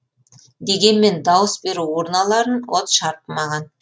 дегенмен дауыс беру урналарын от шарпымаған